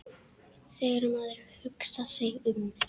Þegar maður hugsar sig um.